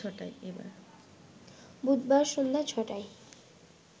বুধবার সন্ধ্যা ছ’টায়